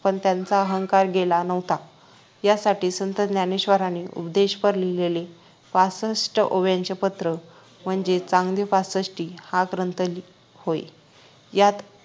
पण त्यांचा अहंकार गेला नव्हता यासाठी संत ज्ञानेश्वरांनी उपदेशपर लिहिलेले पासष्ट ओव्यांचे पत्र म्हणजे चांगदेव पासष्टी हा ग्रंथ होय यात